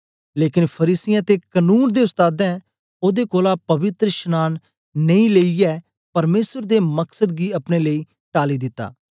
लेकन फरीसियें ते कनून दे उस्तादें ओदे कोलां पवित्रशनांन नेई लेईयै परमेसर दे मकसद गी अपने लेई टाली दित्ता